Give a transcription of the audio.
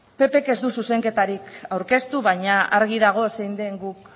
ppk ez du zuzenketarik aurkeztu baina argi dago zein den guk